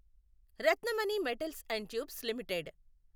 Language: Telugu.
Ratnamani metals and tubes limited